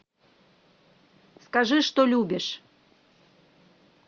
скажи что любишь